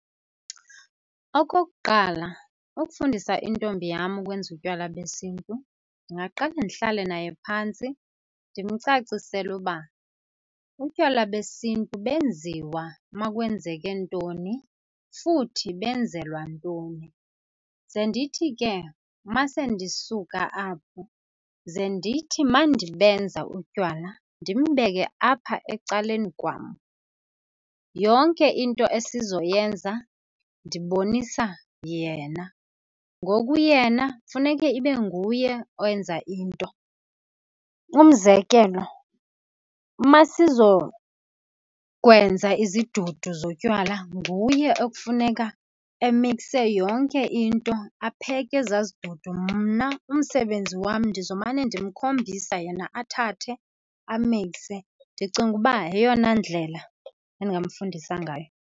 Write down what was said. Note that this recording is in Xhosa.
Okokuqala, ukufundisa intombi yam ukwenza utywala besiNtu ndingaqale ndihlale naye phantsi ndimcacisele uba utywala besiNtu benziwa uma kwenzeke ntoni, futhi benzelwa ntoni. Ze ndithi ke uma sendisuka apho ze ndithi uma ndibenza utywala ndimbeke apha ecaleni kwam, yonke into esizoyenza ndibonisa yena. Ngoku yena funeke ibe nguye owenza into, umzekelo, uma sizokwenza izidudu zotywala nguye ekufuneka emikse yonke into, apheke ezaa zidudu, mna umsebenzi wam ndizomane ndimkhombisa yena athathe amikse. Ndicinga uba yeyona ndlela endingamfundisa ngayo.